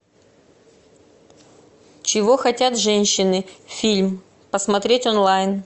чего хотят женщины фильм посмотреть онлайн